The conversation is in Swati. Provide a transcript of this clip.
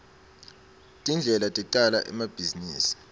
tindlela tecala emabhizinisi